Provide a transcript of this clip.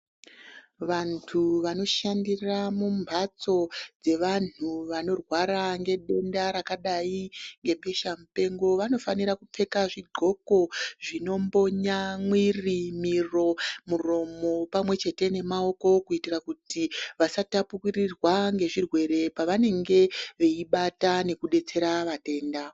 Vantu vano shandira mu mbatso dze vanhu vanorwara nge denda rakadai nge pisha mupengo vano fanira kupfeke zvi ndxoko zvino mbonya mwiri miro muromo pamwe chete ne maoko kuitira kuti vasa tapukirirwa nge zvirwere pavanenge veibata neku detsera vatenda.